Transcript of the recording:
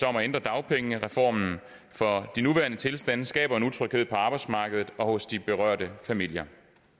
om at ændre dagpengereformen for de nuværende tilstande skaber en utryghed på arbejdsmarkedet og hos de berørte familier